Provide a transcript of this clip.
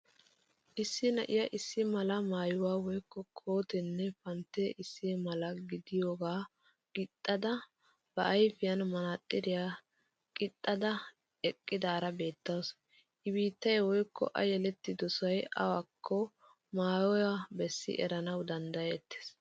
Issi na'iyaa issi mala maayuwaa woykko kooteenne panttee issi mala gidiyoogaa qixxada ba ayfiyan manaaxiriya qixxada eqqidaara beettawusu. I biittay woykko a yelettidosay awaakko maayuwa be'isi erana danddayettes.